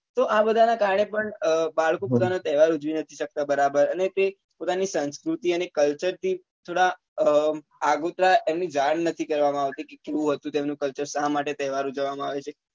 તો આ બધા નાં કારણે પણ અ બાળકો પોતાનો તહેવાર ઉજવી નથી શકતા બરાબર અને તે પોતાની સંસ્કૃતિ અને culture થી થોડા અ આગોતરા તેમને જાણ નથી કરવા માં આવતી કે કેવું હતું તેમનું culture સાના માટે તહેવાર ઉજવવા માં આવે છે એ બધા એ